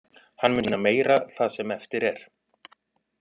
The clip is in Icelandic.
Hann mun sýna meira það sem eftir er.